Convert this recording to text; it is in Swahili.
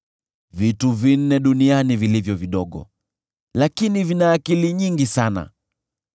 “Vitu vinne duniani vilivyo vidogo, lakini vina akili nyingi sana: